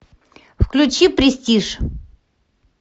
включи престиж